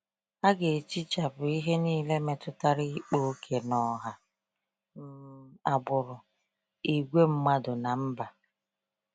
A ga-ehichapụ ihe niile metụtara ịkpa ókè n’ọha, um agbụrụ, ìgwè mmadụ, na mba.